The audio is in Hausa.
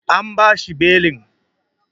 An bashi belin.